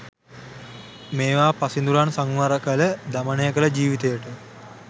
මේවා පසිඳුරන් සංවර කළ, දමනය කළ ජිවිතයට